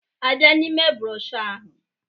A bịa n'ime broshuọ ahụ